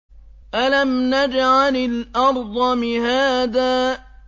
أَلَمْ نَجْعَلِ الْأَرْضَ مِهَادًا